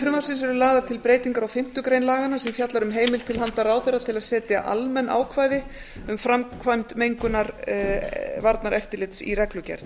frumvarpsins eru lagðar til breytingar á fimmtu grein laganna sem fjallar um heimild til handa ráðherra til að segja almenn ákvæði um framkvæmd mengunarvarnaeftirlits í reglugerð